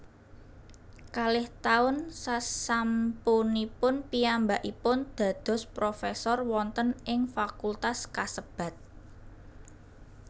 Kalih taun sasampunipun piyambakipun dados profesor wonten ing fakultas kasebat